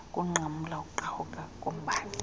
ukunqamla ukuqhawuka kombane